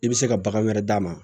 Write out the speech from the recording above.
I bɛ se ka bagan wɛrɛ d'a ma